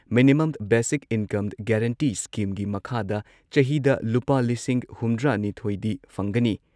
minimum basic income guarantee ꯁ꯭ꯀꯤꯝꯒꯤ ꯃꯈꯥꯗ ꯆꯍꯤꯗ ꯂꯨꯄꯥ ꯂꯤꯁꯤꯡ ꯍꯨꯝꯗ꯭ꯔꯥꯅꯤꯊꯣꯏꯗꯤ ꯐꯪꯒꯅꯤ